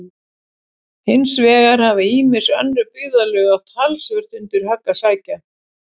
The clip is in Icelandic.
Hins vegar hafa ýmis önnur byggðarlög átt talsvert undir högg að sækja.